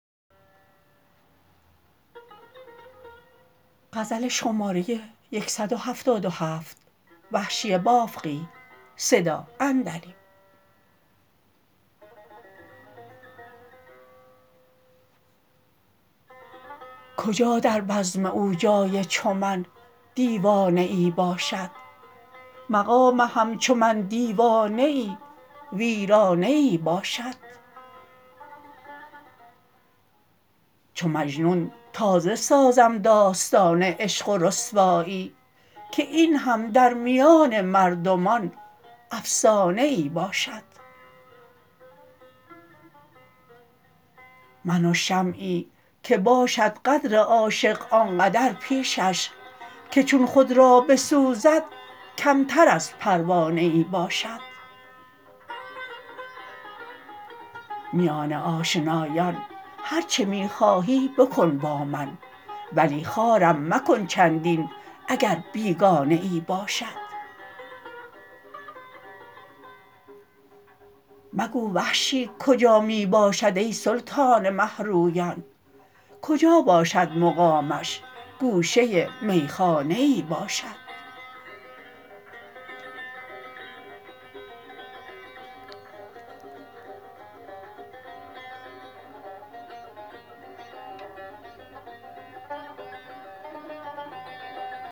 کجا در بزم او جای چو من دیوانه ای باشد مقام همچو من دیوانه ای ویرانه ای باشد چو مجنون تازه سازم داستان عشق و رسوایی که اینهم در میان مردمان افسانه ای باشد من و شمعی که باشد قدر عاشق آنقدر پیشش که چون خود را بسوزد کمتر از پروانه ای باشد میان آشنایان هر چه می خواهی بکن با من ولی خوارم مکن چندین اگر بیگانه ای باشد مگو وحشی کجا می باشد ای سلطان مهرویان کجا باشد مقامش گوشه میخانه ای باشد